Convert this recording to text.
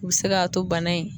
U bɛ se k'a to bana in